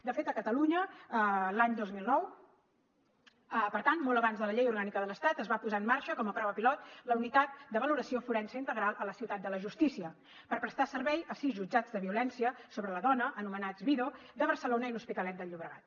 de fet a catalunya l’any dos mil nou per tant molt abans de la llei orgànica de l’estat es va posar en marxa com a prova pilot la unitat de valoració forense integral a la ciutat de la justícia per prestar servei a sis jutjats de violència sobre la dona anomenats vido de barcelona i l’hospitalet de llobregat